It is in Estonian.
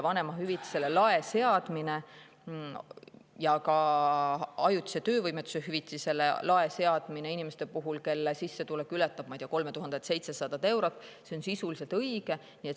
Vanemahüvitisele lae seadmine, ka ajutise töövõimetuse hüvitisele lae seadmine inimeste puhul, kelle sissetulek ületab 3700 eurot, on sisuliselt õige.